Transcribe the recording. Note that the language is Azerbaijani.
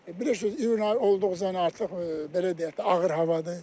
Bilirsiniz, iyun ayı olduğu üçün artıq belə deyək də, ağır havadır.